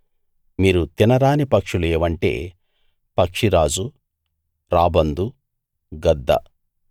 మీరు తినరాని పక్షులు ఏవంటే పక్షిరాజు రాబందు గద్ద